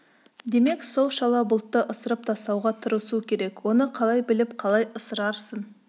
демек сол шала бұлтты ысырып тастауға тырысу керек оны қалай біліп қалай ысырарсың